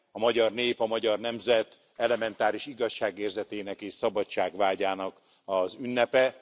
A magyar nép, a magyar nemzet elementáris igazságérzetének és szabadságvágyának az ünnepe.